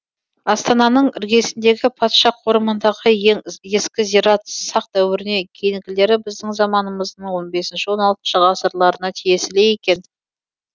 астананың іргесіндегі патша қорымындағы ең ескі зират сақ дәуіріне кейінгілері біздің заманымыздың он бесінші он алтыншы ғасырларына тиесілі екен